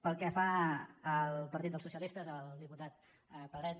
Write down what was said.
pel que fa al partit dels socialistes al diputat pedret